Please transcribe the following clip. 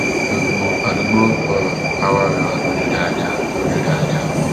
gbogbo àdúgbò ọhún á wá rẹwà lójú dáadáa lójú dáadáa